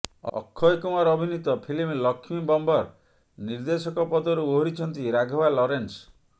ଅକ୍ଷୟ କୁମାର ଅଭିନୀତ ଫିଲ୍ମ ଲକ୍ଷ୍ମୀ ବମ୍ବର ନିର୍ଦ୍ଦେଶକ ପଦରୁ ଓହରିଛନ୍ତି ରାଘବା ଲରେନ୍ସ